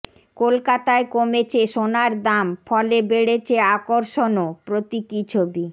কলকাতায় কমেছে সোনার দাম ফলে বেড়েছে আকর্ষণও প্রতীকী ছবি